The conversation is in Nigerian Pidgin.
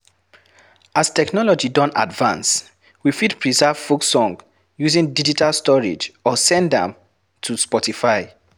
As technology don advance, we fit preserve folk song using digital storage or send am to spotify